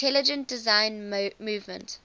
intelligent design movement